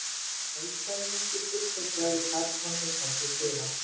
Gott kvöld sagði Nikki kurteislega við karlmann sem kom til dyra.